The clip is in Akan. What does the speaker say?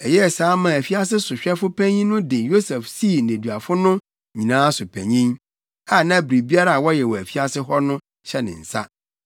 Ɛyɛɛ saa maa afiase sohwɛfo panyin no de Yosef sii nneduafo no nyinaa so panyin, a na biribiara a wɔyɛ wɔ afiase hɔ no hyɛ ne nsa.